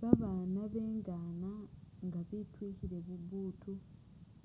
Babaana bengaana nga bityikhile bubuutu